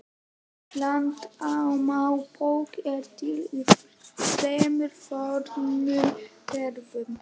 Landnámabók er til í þremur fornum gerðum.